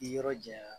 Ni yɔrɔ janya